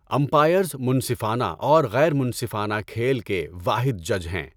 Umpires منصفانہ اور غیر منصفانہ کھیل کے واحد جج ہیں۔